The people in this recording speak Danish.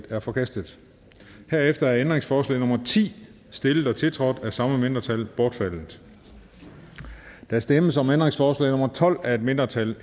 er forkastet herefter er ændringsforslag nummer ti stillet og tiltrådt af de samme mindretal bortfaldet der stemmes om ændringsforslag nummer tolv af et mindretal